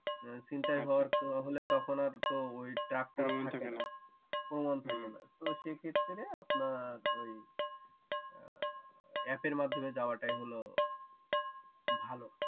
ছিনতাই হলে তো তখন আর তো ওই ডাক থাকেনা তো সেক্ষেত্রে আপনার অ্যাপের মাধ্যমে যাওয়াটাই হলো ভালো